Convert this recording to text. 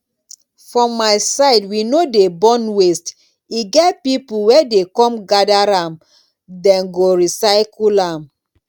for my side we no dey burn waste e get people wey dey come gather am den go recycle am